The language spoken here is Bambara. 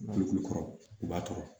Bolokulu kɔrɔ u b'a tɔɔrɔ